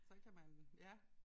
Så kan man ja